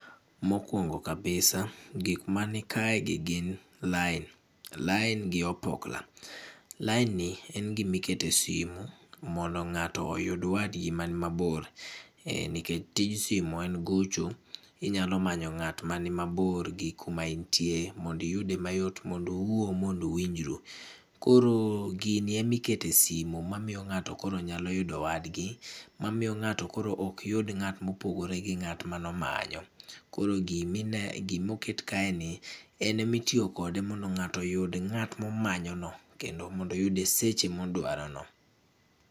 Mokwongo kabisa, gik mani kaegi gin, lain. Lain gi opokla. Lain ni, en gimiketo e simu, mondo ng'ato oyud wadgi man mabor um nikech tij simu en gocho, inyalo manyo ng'at ma ni mabor gi kuma intie, mondi iyude mayot mond uwuo, mond uwinjru. Koro, gini emikete simu mamiyo ng'ato koro nyalo yudo wadgi, mamiyo ng'ato koro ok yud ng'at mopogore gi ng'at manomanyo. Koro gimine gimoket kaeni, enemitiyo kode mondo ng'ato oyud ng'at momanyo no. Kendo mond oyude seche modwaro no